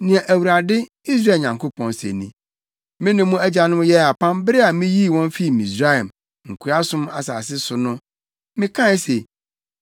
“Nea Awurade, Israel Nyankopɔn, se ni: Me ne mo agyanom yɛɛ apam bere a miyii wɔn fii Misraim, nkoasom asase so no. Mekae se,